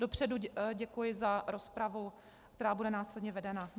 Dopředu děkuji za rozpravu, která bude následně vedena.